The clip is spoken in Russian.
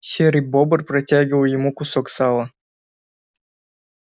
серый бобр протягивал ему кусок сала